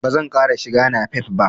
Ba zan ƙara shiga napep ba.